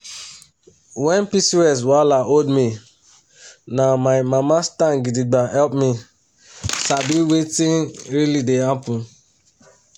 when pcos wahala hold me na my mama stand gidigba help me sabi wetin really dey happen.